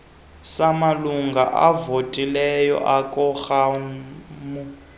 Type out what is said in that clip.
samalungu avotileyo ekoramu